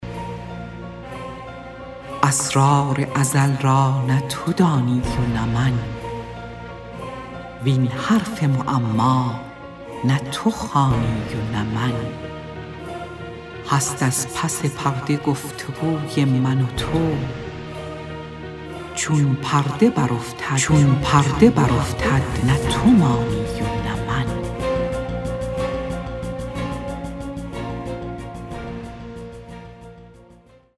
اسرار ازل را نه تو دانی و نه من وین حرف معما نه تو خوانی و نه من هست از پس پرده گفت وگوی من و تو چون پرده برافتد نه تو مانی و نه من